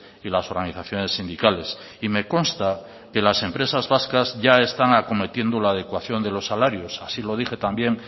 y las organizaciones sindicales y me consta que las empresas vascas ya están acometiendo la adecuación de los salarios así lo dije también